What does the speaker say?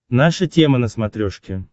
наша тема на смотрешке